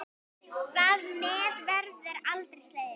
Það met verður aldrei slegið.